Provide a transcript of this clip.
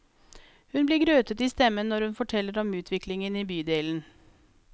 Hun blir grøtete i stemmen når hun forteller om utviklingen i bydelen.